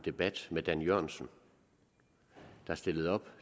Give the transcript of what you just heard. debat med dan jørgensen der stillede op